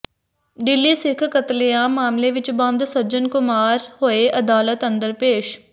ਦਿੱਲੀ ਸਿੱਖ ਕਤਲੇਆਮ ਮਾਮਲੇ ਵਿਚ ਬੰਦ ਸੱਜਣ ਕੁਮਾਰ ਹੋਏ ਅਦਾਲਤ ਅੰਦਰ ਪੇਸ਼